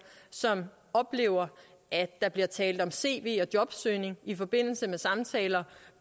som oplever at der bliver talt om cv og jobsøgning i forbindelse med samtaler